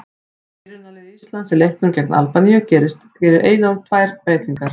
Frá byrjunarliði Íslands í leiknum gegn Albaníu gerir Eyjólfur tvær breytingar.